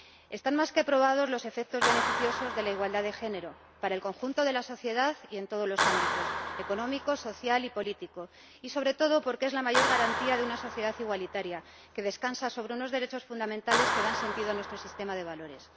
Están más que probados los efectos beneficiosos de la igualdad de género para el conjunto de la sociedad y en todos los ámbitos ―económico, social y político―, y, sobre todo, porque es la mayor garantía de una sociedad igualitaria que descansa sobre unos derechos fundamentales que dan sentido a nuestro sistema de valores.